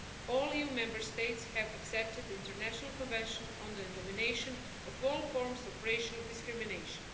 All EU Member States have accepted the International Convention on the Elimination of All Forms of Racial Discrimination.